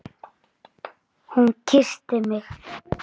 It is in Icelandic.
Hún kyssti mig!